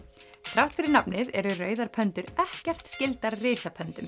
þrátt fyrir nafnið eru rauðar ekkert skyldar